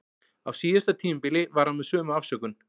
Á síðasta tímabili var hann með sömu afsökun.